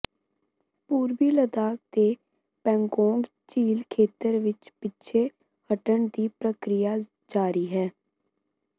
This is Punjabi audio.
ਪੂਰਬੀ ਲਦਾਖ ਦੇ ਪੈਂਗੋਂਗ ਝੀਲ ਖੇਤਰ ਵਿਚ ਪਿੱਛੇ ਹਟਣ ਦੀ ਪ੍ਰਕਿਰਿਆ ਜਾਰੀ ਹੈ